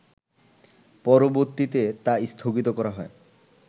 পরবর্তীতে তা স্থগিত করা হয়